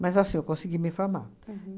Mas assim, eu consegui me formar. Uhum.